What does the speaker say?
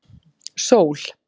Sól